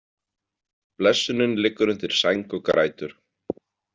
Blessunin liggur undir sæng og grætur.